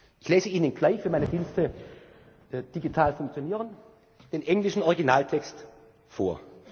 soll. Ich lese Ihnen gleich, wenn meine Dienste digital funktionieren, den englischen Originaltext